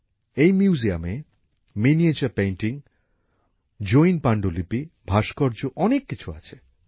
এই মিউজিয়ামে miniature painting Jain পাণ্ডুলিপি ভাস্কর্য অনেক কিছু আছে